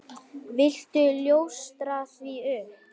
Viltu ljóstra því upp?